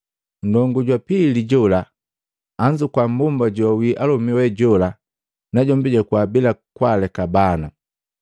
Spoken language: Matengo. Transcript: Ndongu jwa pili jola anzukua mmbomba joawii alomi we jola, najombi jakuwa bila kwaaleka bana,